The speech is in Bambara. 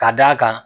Ka d'a kan